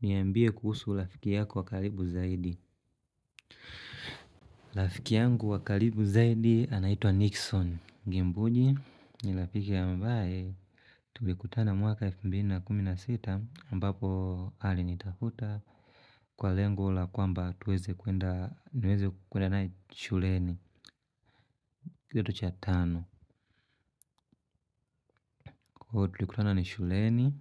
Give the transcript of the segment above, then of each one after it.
Niyambie kuhusu rafiki yako wa karibu zaidi rafiki yangu wa karibu zaidi anaitwa Nixon Gimbugi ni rafiki ambaye tulikutana mwaka elfu mbili na kumi na sita ambapo alinitafuta. Kwa lengo la kwamba tuweze kuenda niweze kuenda naye shuleni. Kitu cha tano. Kwa hio tulikutana ni shuleni.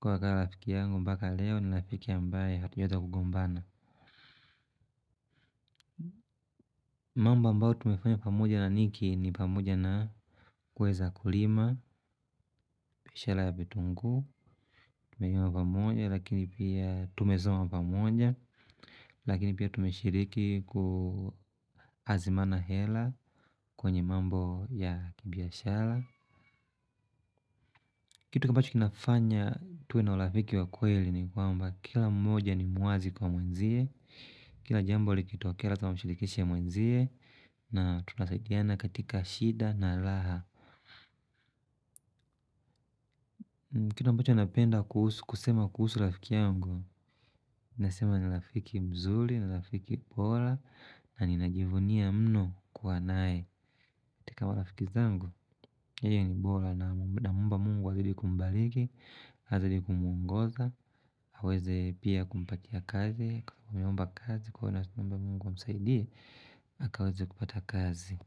Kwa hio akawa lafiki yangu mpaka leo ni lafiki ambaye hatujaweza kugombana. Mambo ambao tumefanya pamoja na niki ni pamoja na kweza kulima, pishala ya vitungu, tumezoma pamoja, lakini pia tumesoma pamoja, lakini pia tumeshiriki kuhazimana hela kwenye mambo ya kibiashala. Kitu ambacho kinafanya tuwe na ulafiki wa kweli ni kwamba kila mmoja ni muazi kwa mwenzie, kila jambo likitoke lazima tamashirikishi mwenzie, na tunasaidiana katika shida na alaha. Kitu ambacho anapenda kusema kuhusu lafiki yangu. Nasema ni lafiki mzuri, ni lafiki bola. Na ninajivunia mno kuwa nae katika marafiki zangu, yeye ni bora namuomba Mungu azidi kumbaliki. Hazidi kumungoza, haweze pia kumpatia kazi. Kwa mumba kazi, kwa mumba Mungu amsaidie, akaweze kupata kazi.